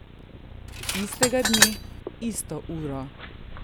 Istega dne, isto uro!